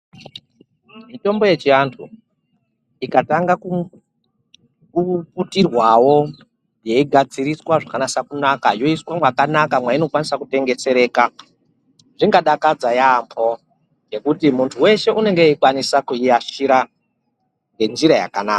Mitombo yechianthu ikatanga kuputirwawo yeigadziriswa zvakanasa kunaka, yoiswa mwakanaka mweinokwanisa kutengesereka. Zvingadakadza yaampho ngekuti munthu weshe unege weikwanisa kuiashira ngenjira yakanaka.